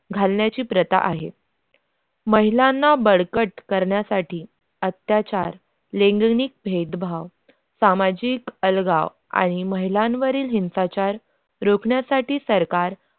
घालण्याची प्रथा आहे महिलांना बळकट करण्यासाठी अत्याचार लैंगिक भेदभाव सामाजिक अलगाव आणि महिलांवरील हिंसाचार रोखण्यासाठी सरकार